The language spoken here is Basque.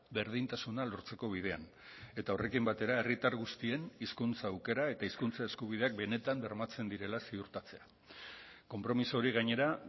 berdintasuna lortzeko bidean eta horrekin batera herritar guztien hizkuntza aukera eta hizkuntza eskubideak benetan bermatzen direla ziurtatzea konpromiso hori gainera